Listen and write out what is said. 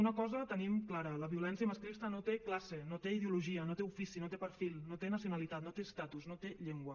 una cosa tenim clara la violència masclista no té classe no té ideologia no té ofici no té perfil no té nacionalitat no té estatus no té llengua